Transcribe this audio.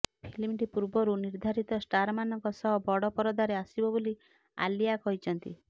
ଫିଲ୍ମଟି ପୂର୍ବରୁ ନିର୍ଦ୍ଧାରିତ ଷ୍ଟାରମାନଙ୍କ ସହ ବଡ଼ ପରଦାରେ ଆସିବ ବୋଲି ଆଲିଆ କହିଛନ୍ତି